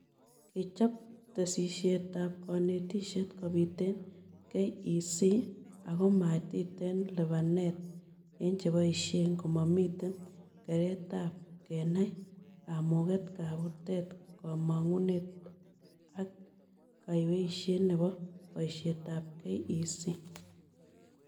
Kechob tesisyitab kanetishet kobit eng KEC akomatiten libanet eng cheboishe, komamiten keretab kenai kamuget, kabutet, kamangunet ake kaweishet nebo boishetab KEC